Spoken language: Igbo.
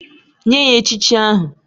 Nye ya echichi ahụ!!